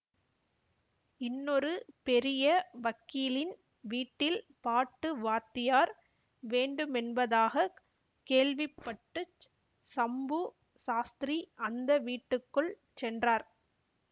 இன்னொரு பெரிய வக்கீலின் வீட்டில் பாட்டு வாத்தியார் வேண்டுமென்பதாகக் கேள்விப்பட்டுச் சம்பு சாஸ்திரி அந்த வீட்டுக்குள் சென்றார்